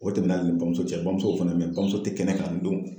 O tɛmɛna ni bamuso cɛ bamuso fana be yen bamuso tɛ kɛnɛ kan nin don.